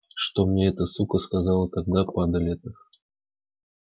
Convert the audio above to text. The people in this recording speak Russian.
что мне эта сука сказала тогда падаль эта